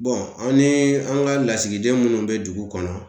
Bɔn anw ni an ga lasigiden munnu be dugu kɔnɔ